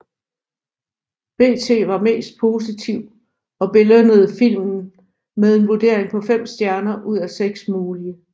BT var mest positiv og belønnede filmen med en vurdering på 5 stjerner ud af 6 mulige